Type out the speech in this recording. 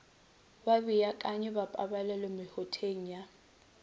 babeakanyi ba pabalelo mehuteng ya